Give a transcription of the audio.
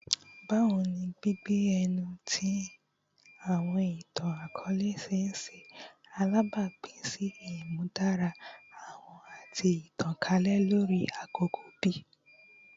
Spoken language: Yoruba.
Bawo ni gbigbe ẹnu ti awọn itan-akọọlẹ ṣe ṣe alabapin si imudara wọn ati itankalẹ lori akoko bi?